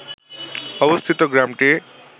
অবস্থিত গ্রামটি